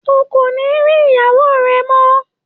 O kò ní rí ìyáwó rẹ mọ́.